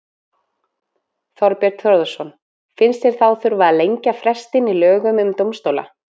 Þorbjörn Þórðarson: Finnst þér þá þurfa að lengja frestinn í lögum um dómstóla?